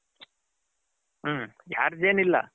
ಹ್ಮ್ charge ಏನು ಇಲ್ಲ.